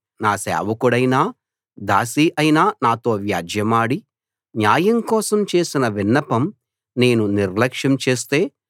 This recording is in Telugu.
నా సేవకుడైనా దాసి అయినా నాతో వ్యాజ్యెమాడి న్యాయం కోసం చేసిన విన్నపం నేను నిర్లక్ష్యం చేస్తే